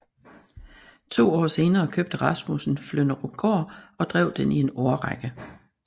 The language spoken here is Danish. To år senere købte Rasmussen Flynderupgård og drev den i en årrække